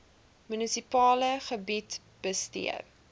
munisipale gebied bestee